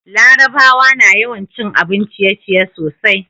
larabawa na yawan cin abun ciye ciye sosai